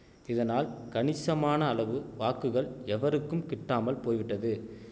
இதனால் கணிசமான அளவு வாக்குகள் எவருக்கும் கிட்டாமல் போய்விட்டது